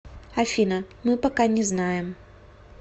афина мы пока не знаем